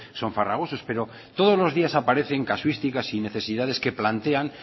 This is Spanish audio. son farragosos pero todos los días aparecen casuísticas y necesidades que plantean